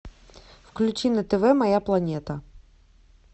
включи на тв моя планета